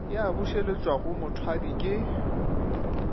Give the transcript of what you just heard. ya bušeletšwa go mothwadi ke